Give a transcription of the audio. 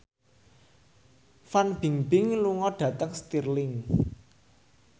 Fan Bingbing lunga dhateng Stirling